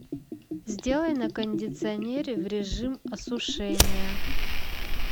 сделай на кондиционере в режим осушения